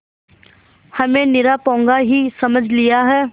हमें निरा पोंगा ही समझ लिया है